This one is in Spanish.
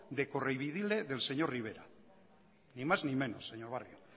de correveidile del señor rivera ni más ni menos señor barrio